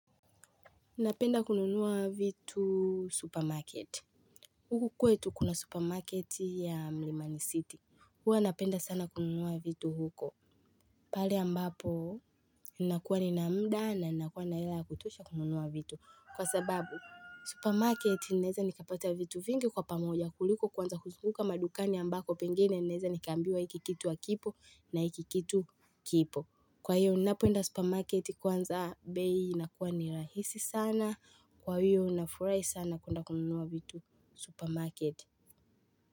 Napenda kununua vitu supermarket. Huku kwetu kuna supermarket ya Mlimani City. Huwa napenda sana kununua vitu huko. Pale ambapo, ninakuwa nina muda na ninakuwa na hela ya kutosha kununua vitu. Kwa sababu, supermarket ninaweza nikapata vitu vingi kwa pamoja kuliko kuanza kuzunguka madukani ambako pengene naezanikaambiwa hiki kitu hakipo na hiki kitu kipo. Kwa hiyo ninapoenda supermarket kwanza bei inakuwa ni rahisi sana. Kwa hiyo nafurahi sana kuenda kununua vitu supermarket.